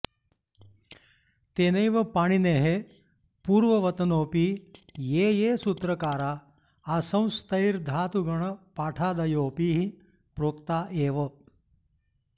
तेनैव पाणिनेः पूर्ववतनोऽपि ये ये सूत्रकारा आसंस्तैर्धातुगणपाठादयोऽपिः प्रोक्ता एव